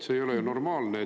See ei ole ju normaalne.